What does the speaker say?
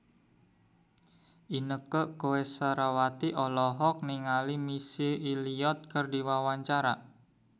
Inneke Koesherawati olohok ningali Missy Elliott keur diwawancara